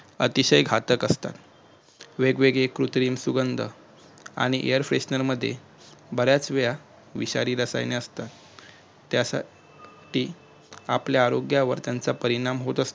अतिशय घातक असतात वेगवेगळी कृत्रिम सुगंध आणि air freshner मध्ये बऱ्याच वेळा विषारी रसायने असतात त्यासाठी आपल्या आरोग्यावर त्याचा परिणाम होतो